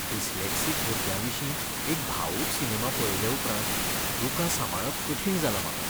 Dyslexic भुरग्याविशीं एक भावूक सिनेमा पळयले उपरांत दुकां सांबाळप कठीण जालां म्हाका.